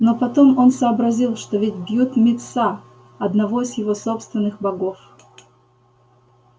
но потом он сообразил что ведь бьют мит са одного из его собственных богов